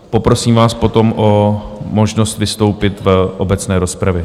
Poprosím vás potom o možnost vystoupit v obecné rozpravě.